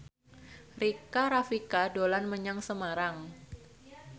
Rika Rafika dolan menyang Semarang